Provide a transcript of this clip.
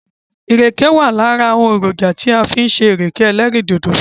Ìrèkè wà lára èrònjà tí wọ́n fi ń ṣe ìrèké ẹlẹ́rìndòdò.